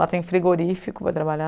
Lá tem frigorífico para trabalhar.